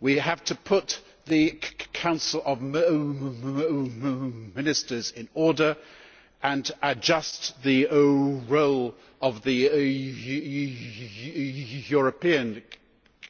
We have to put the Council of Ministers in order and adjust the role of the European